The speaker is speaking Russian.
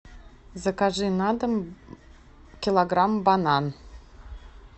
закажи на дом килограмм банан